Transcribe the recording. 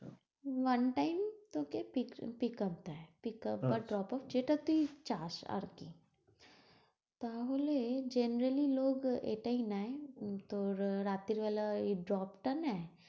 one time তোকে pickup দেয়। pickup বা drop up যেটা তুই চাস, আর কি তাহলে generaly লোক এটাই নেয় তোর রাত্রীবেলায় ওই drop টা নেয়